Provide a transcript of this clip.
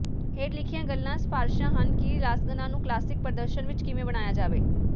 ਹੇਠ ਲਿਖੀਆਂ ਗੱਲਾਂ ਸਿਫਾਰਿਸ਼ਾਂ ਹਨ ਕਿ ਲਾਸਗਨਾ ਨੂੰ ਕਲਾਸਿਕ ਪ੍ਰਦਰਸ਼ਨ ਵਿਚ ਕਿਵੇਂ ਬਣਾਇਆ ਜਾਵੇ